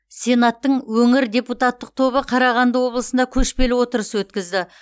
сенаттың өңір депутаттық тобы қарағанды облысында көшпелі отырыс өткізді